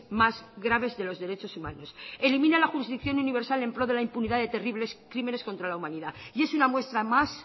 más graves de los derechos humanos elimina la jurisdicción universal en pro de la impunidad de terribles crímenes contra la humanidad y es una muestra más